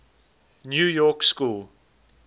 new york school